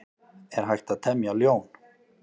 Er hægt að temja ljón?